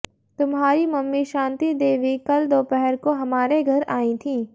तुम्हारी मम्मी शांतिदेवी कल दोपहर को हमारे घर आई थीं